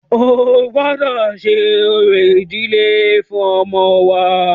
O gbọ́dọ ṣe orò ìdílé fún ọmọ wa!